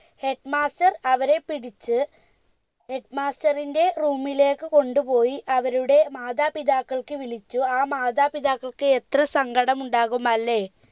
headmaster അവരെ പിടിച്ച് headmaster ന്റെ room ലേക്ക് കൊണ്ട് പോയി അവരുടെ മാതാപിതാക്കൾക്ക് വിളിച്ചു ആ മാതാപിതാക്കൾക്ക് എത്ര സങ്കടം ഉണ്ടാകും അല്ലെ